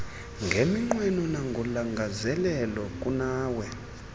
ngeminqweno nangolangazelelo kunawe